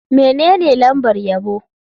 Menene lambar yabo?